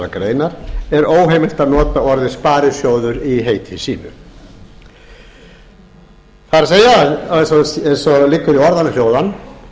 greinar er óheimilt að nota orðið sparisjóður í heiti sínu það er að segja eins og liggur í orðanna hljóðan